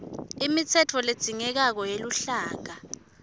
imitsetfo ledzingekako yeluhlaka